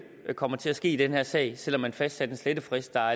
vil komme til at ske i den her sag selv om man fastsatte en slettefrist der